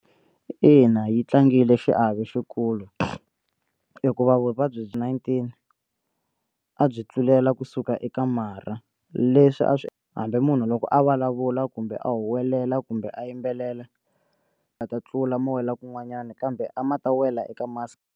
Ina yi tlangile xiave xikulu hikuva vuvabyi byi nineteen a byi tlulela kusuka eka marha leswi a swi hambi munhu loko a vulavula kumbe a huwelela kumbe a yimbelela a ta tlula ma wela kun'wanyana kambe a ma ta wela eka mask.